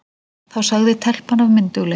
Þá sagði telpan af myndugleik